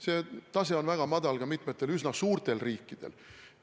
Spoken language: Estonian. See tase on väga madal ka mitmetel üsna suurtel riikidel.